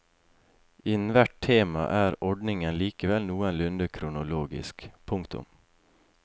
Innen hvert tema er ordningen likevel noenlunde kronologisk. punktum